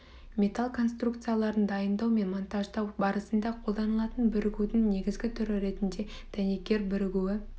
металл конструкцияларын дайындау мен монтаждау барысында қолданылатын бірігудің негізгі түрі ретінде дәнекер бірігуі